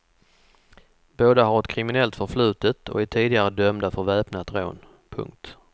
Båda har ett kriminellt förflutet och är tidigare dömda för väpnat rån. punkt